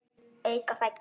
Auka fætur.